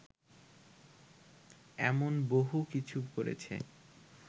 এমন বহু কিছু করেছে